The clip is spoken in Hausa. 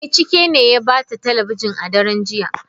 Eh, Chike ne ya bata talabijin a daren jiya.